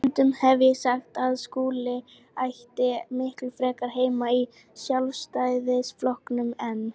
Stundum hef ég sagt að Skúli ætti miklu frekar heima í Sjálfstæðisflokknum en